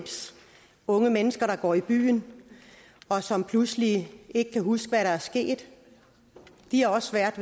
unge mennesker der går i byen og som pludselig ikke kan huske hvad der er sket de har også svært